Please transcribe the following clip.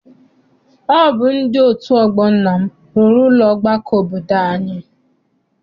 Ọ bụ ndị otu ọgbọ nna m rụrụ ụlọ ọgbakọ obodo anyị.